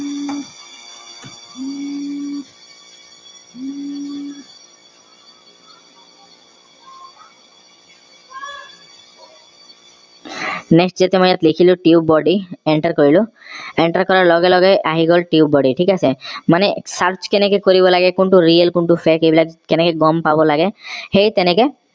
next যিটো মই ইয়াত লিখিলো tubebuddy enter কৰিলো enter কৰাৰ লগেলগেই আহি গল tubebuddy ঠিক আছে মানে search কেনেকে কৰিব লাগে কোনটো real কোনটো fake এই বিলাক কেনেকে গম পাব লাগে সেই তেনেকে